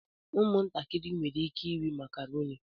Ụmụntakịrị nwere ike ịrị makarọni.